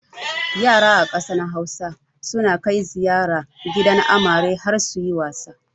Yara a ƙasar Hausa suna kai ziyara gidan amare har suyi wasa.